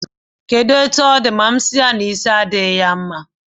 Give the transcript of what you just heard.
Kedụ etu ọ dị ma m si ya, isi adịghị ya mma